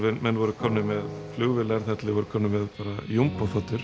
menn voru komnir með flugvélar þar til þeir voru komnir með